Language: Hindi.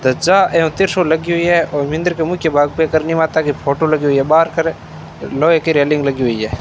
ध्वजा एवं त्रिशूल लगी हुई है और मिंदर के मुख्य भाग पे करनी माता की फोटो लगी हुई है बाहर कर लोहे की रेलिंग लगी हुई है।